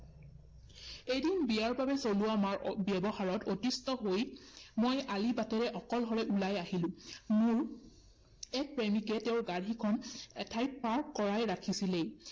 এদিন বিয়াৰ বাবে চলোৱা ব্যৱহাৰত অতিষ্ঠ হৈ মই আলিবাটেৰে অকলশৰে উলাই আহিলো। মোৰ এক প্ৰেমিকে তেওঁৰ গাড়ীখন এঠাইত park কৰাই ৰাখিছিলেই